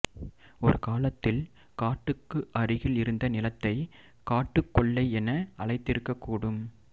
ஒருகாலத்தில் காட்டுக்கு அருகில் இருந்த நிலத்தை காட்டுக்கொல்லை என அழைத்திருக்ககூடும்